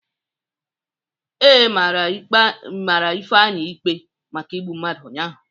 Ee, mara Ifeanyị ikpe maka igbu mmadụ ụnyahụ.